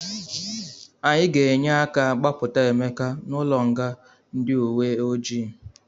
Anyị ga-enye aka gbapụta Emeka n'ụlọnga ndị uwe ojii.